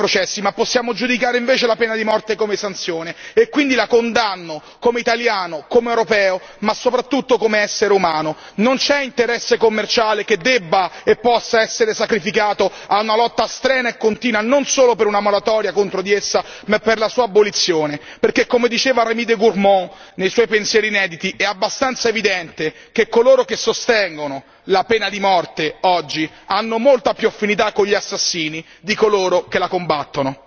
Vedete, noi non possiamo giudicare i processi, ma possiamo invece giudicare la pena di morte come sanzione e quindi la condanno come italiano, come europeo ma soprattutto come essere umano. Non c'è interesse commerciale che debba e possa essere sacrificato a una lotta strenua e continua non solo per una moratoria contro di essa, ma per la sua abolizione, perché come diceva Rémy de Gourmont nei suoi pensieri inediti, è abbastanza evidente che coloro che sostengono la pena di morte oggi hanno molte più affinità con gli assassini di coloro che la combattono.